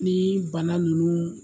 Nii bana ninnu